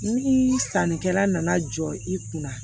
Ni sannikɛla nana jɔ i kun na